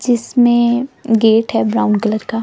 जिसमें गेट है brown colour का--